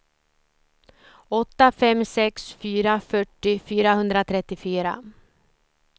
åtta fem sex fyra fyrtio fyrahundratrettiofyra